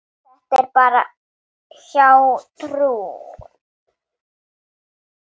Þetta er bara hjátrú.